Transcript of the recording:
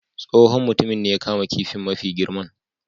Tsohon mutumin ne ya kama kifin mafi girman.